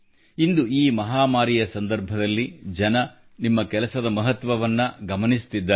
ಇಂದು ಈ ಮಹಾಮಾರಿಯ ಸಂದರ್ಭದಲ್ಲಿ ಜನರು ನಿಮ್ಮ ಕೆಲಸದ ಮಹತ್ವವನ್ನು ಗಮನಿಸುತ್ತಿದ್ದಾರೆ